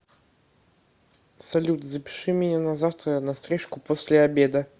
салют запиши меня на завтра на стрижку после обеда